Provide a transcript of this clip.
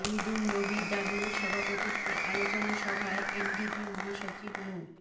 শহীদুন নবী ডাবলুর সভাপতিত্বে আলোচনা সভায় এনডিপি মহাসচিব মো